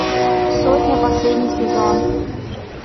сотня последний сезон